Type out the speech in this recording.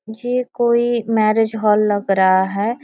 ये कोई marriage hall लग रहा है।